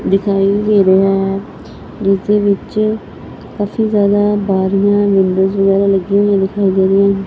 ਦਿਖਾਈ ਦੇ ਰਿਹਾ ਹੈ ਜਿਸ ਦੇ ਵਿੱਚ ਕਾਫੀ ਜਿਆਦਾ ਬਾਰੀਆਂ ਵਿੰਡੋਜ ਵਗੈਰਾ ਲੱਗੀਆਂ ਹੋਈਆਂ ਦਿਖਾਈ ਦੇ ਰਹੀਆਂ।